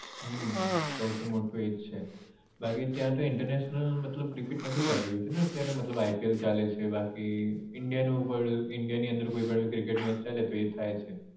હમ સોંથી મોટું એ જ છે બાકી ત્યાં તો international મતલબ cricket નથી ચાલી રહ્યું છે ને અત્યારે મતલબ ipl ચાલે છે બાકી India નું પણ India ની અંદર કોઈ પણ cricket match ચાલે તો એ થાય છે